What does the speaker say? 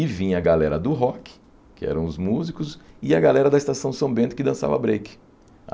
E vinha a galera do rock, que eram os músicos, e a galera da Estação São Bento que dançava break.